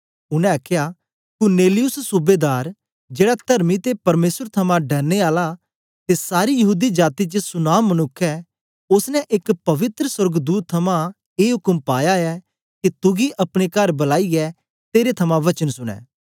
उनै आखया कुरनेलियुस सूबेदार जेड़ा तरमी ते परमेसर थमां डरने आला ते सारी यहूदी जाती च सुनाम मनुक्ख ऐ ओसने एक पवित्र सोर्गदूत थमां ए उक्म पाया ऐ के तुगी अपने कर बलाईयै तेरे थमां वचन सुनें